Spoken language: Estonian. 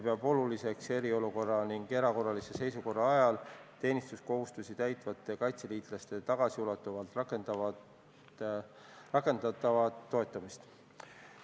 Peetakse oluliseks eriolukorra ja erakorralise seisukorra ajal teenistuskohustusi täitvate kaitseliitlaste tagasiulatuvalt rakendatavat toetamist.